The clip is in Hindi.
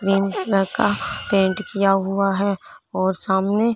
का पेंट किया हुआ है और सामने--